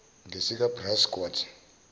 ngesikabrusciotto